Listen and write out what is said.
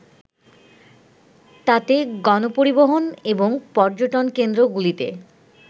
তাতে গণপরিবহন এবং পর্যটনকেন্দ্রগুলিতে